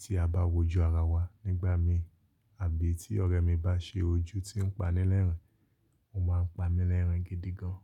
tí a bá wojú ara wa nígbà mi, àbí tí ọ̀rẹ́ mi bá ṣe ojú tí ń panilẹ́rìn, ó máa ń pa mí lẹ́rìn gidi gan.